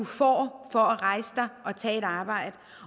får for at rejse sig og tage et arbejde